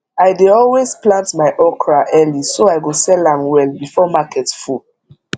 i dey always plant my okra early so i go sell am well before market full